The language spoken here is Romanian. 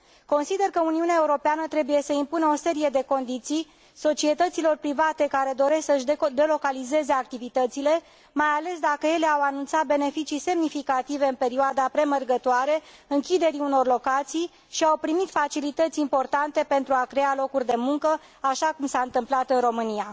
Consider că Uniunea Europeană trebuie să impună o serie de condiții societăților private care doresc să și delocalizeze activitățile, mai ales dacă ele au anunțat beneficii semnificative în perioada premergătoare închiderii unor locații și au primit facilități importante pentru a crea locuri de muncă, așa cum s a întâmplat în România.